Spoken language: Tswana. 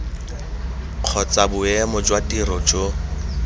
kgotsa boemo jwa tiro jo